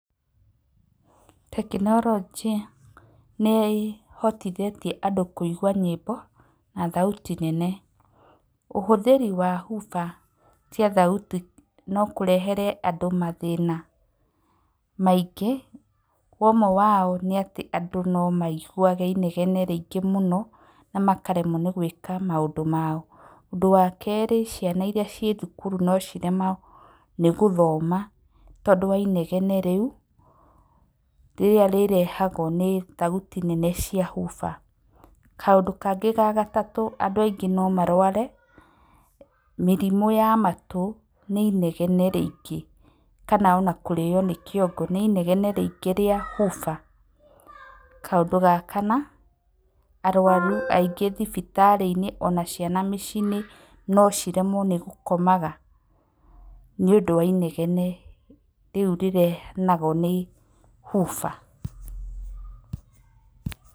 Tekinoronjĩ nĩ ĩhotithĩtie andũ kũigua nyĩmbo na thauti nene. Ũhũthĩri wa hoofer, cia thauti no kũrehere andũ mathĩna maingĩ. Ũmwe wao nĩ atĩ andũ nomaiguage inegene rĩingĩ mũno, na makaremwo gũĩka maũndũ mao. Ũndũ wa kerĩ ciana iria ciĩthukuru no ciremwo nĩgũthoma tondũ wa inegene rĩu, rĩrĩa rĩrehagwo nĩ thauti nene cia hoofer. Kaũndũ kangĩ gagatatũ, andũ aingĩ no marware, mĩrimũ ya matũ, nĩinegene rĩingĩ, kana ona kũrĩo nĩ kĩongo nĩ inegene rĩingĩ rĩa hoofer. Kaũndũ ga kana, arwaru aingĩ thibitarĩ-inĩ ona ciana mĩci-inĩ no ciremwo nĩ gũkomaga niũndũ wa inegene rĩu rĩrehagwo nĩ hoofer.